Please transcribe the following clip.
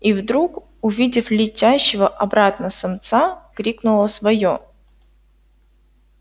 и вдруг увидев летящего обратно самца крикнула своё